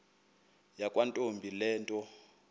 yakwantombi le nto